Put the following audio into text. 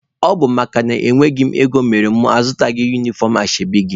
Ọ bụ makana enweghị m ego mere na mụ azụghị unifọm ashebi gị.